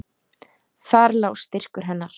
Þar lá styrkur hennar.